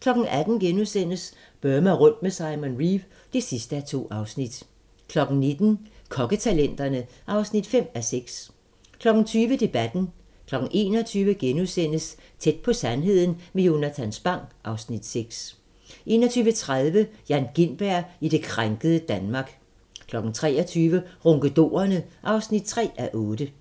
18:00: Burma rundt med Simon Reeve (2:2)* 19:00: Kokketalenterne (5:6) 20:00: Debatten 21:00: Tæt på sandheden med Jonatan Spang (Afs. 6)* 21:30: Jan Gintberg i det krænkede Danmark 23:00: Ronkedorerne (3:8)